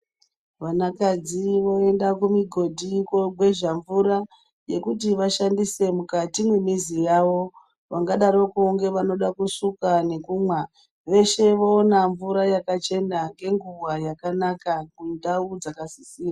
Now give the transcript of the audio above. Vanakadzi voenda kumigodhi kogwezha mvura, yekuti vashandise mukati mwemizi yavo. Vangadarokwo ngevanode kusuka nekumwa, veshe voona mvura yakachena ngenguwa yakanaka kundau dzakasisira.